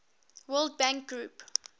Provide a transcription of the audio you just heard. world bank group